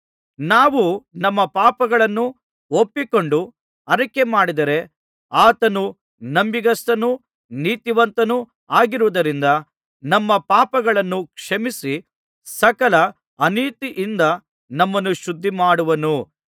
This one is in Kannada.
ನಾವು ನಮ್ಮ ಪಾಪಗಳನ್ನು ಒಪ್ಪಿಕೊಂಡು ಅರಿಕೆಮಾಡಿದರೆ ಆತನು ನಂಬಿಗಸ್ತನೂ ನೀತಿವಂತನೂ ಆಗಿರುವುದರಿಂದ ನಮ್ಮ ಪಾಪಗಳನ್ನು ಕ್ಷಮಿಸಿ ಸಕಲ ಅನೀತಿಯಿಂದ ನಮ್ಮನ್ನು ಶುದ್ಧಿಮಾಡುವನು